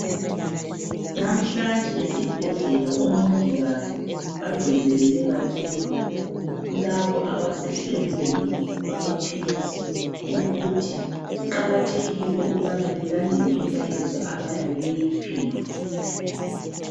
Namhlanje esibhedlela omongikazi bagcizelele kakhulu kulabo abesehlelweni lamaphilisi ukuthi kuqakathekile ukubana belandela imlayezo abayabe beyiphiwe.